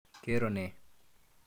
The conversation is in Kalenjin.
Ke roo ne?